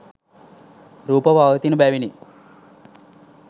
රූප පවතින බැවිනි.